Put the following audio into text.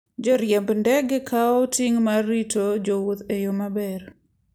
Joriemb ndege kawoga ting' mar rito jowuoth e yo maber.